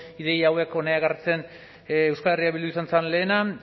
ideia hauek hona ekartzen euskal herria bildu izan zen lehena